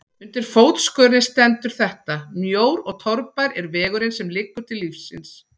Undir fótskörinni stendur þetta: Mjór og torfær er vegurinn sem liggur til lífsins.